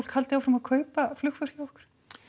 haldi áfram að kaupa flugför hjá ykkur